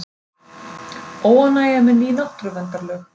Óánægja með ný náttúruverndarlög